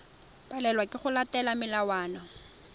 palelwa ke go latela melawana